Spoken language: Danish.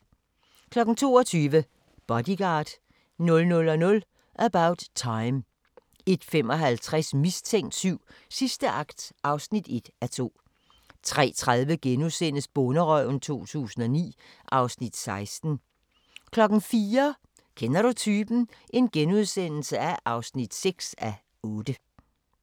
22:00: Bodyguard 00:00: About Time 01:55: Mistænkt 7: Sidste akt (1:2) 03:30: Bonderøven 2009 (Afs. 16)* 04:00: Kender du typen? (6:8)*